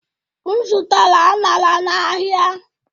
M zụtara aṅara n'ahịa.